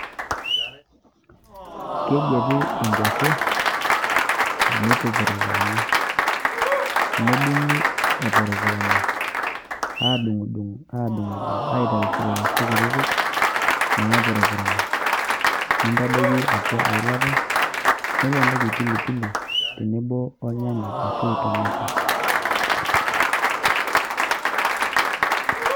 Kegueti inkuashe neitupurupurani nedung'i epurupurana, aadung'u dung' aadung'u dung' aitai silaisi kutitik naapurupurana nintadoiki atua eilata niponiki  pilipili tenebo olnyanya ashu tomato.